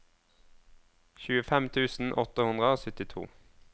tjuefem tusen åtte hundre og syttito